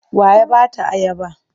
Wa ya ba ta ayaba?